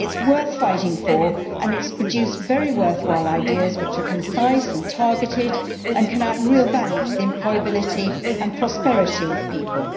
It is worth fighting for, and it has produced very worthwhile ideas which are concise and targeted and can add real value to the employability and prosperity of people.